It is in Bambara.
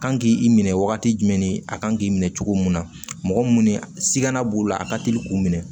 Kan k'i minɛ wagati jumɛn ni a kan k'i minɛ cogo mun na mɔgɔ munnu siiganna b'u la a ka teli k'u minɛ